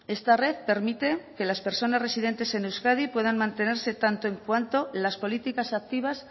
esta red permite que las personas residentes en euskadi puedan mantenerse tanto en cuanto las políticas activas